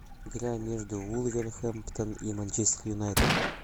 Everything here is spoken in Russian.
игра между вулверхэмптон и манчестер юнайтед